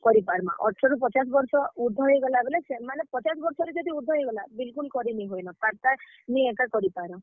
କରି ପାର୍ ମା, ଅଠର ରୁ ପଚାଶ୍ ବର୍ଷ ଉର୍ଦ୍ଧ ହେଇଗଲା ବେଲେ, ସେମାନେ ପଚାସ୍ ବର୍ଷ ରୁ ଯଦି ଉର୍ଦ୍ଧ ହେଇଗଲା, ବିଲ୍ କୁଲ୍ କରି ନି ହୁଏ ନ, ତାର୍ ଟା ନି ଏକା କରି ପାରୁଁ।